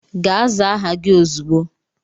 Gaa zaa aha gị ozugbo!